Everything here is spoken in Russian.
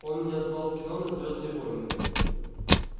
он меня звал в кино на звёздные войны